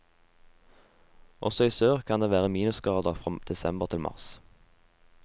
Også i sør kan det være minusgrader fra desember til mars.